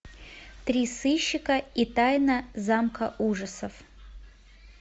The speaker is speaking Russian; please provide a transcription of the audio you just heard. три сыщика и тайна замка ужасов